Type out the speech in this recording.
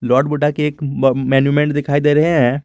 Lord Buddha के ब monument दिखाई दे रहे हैं।